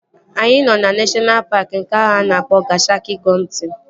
Anyị nọ na neshọna paaki nke ahụ a na-akpọ Gashaka-Gumti